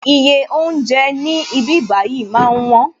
Iye oúnjẹ ní ibí bayi máa ń wón